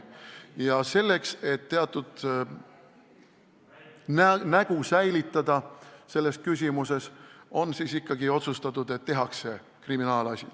Ja et selles küsimuses teatud nägu säilitada, on ikkagi otsustatud, et tehakse kriminaalasi.